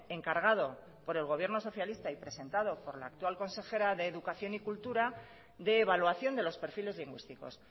encargado por el gobierno socialista y presentado por la actual consejera de educación y cultura de evaluación de los perfiles lingüísticos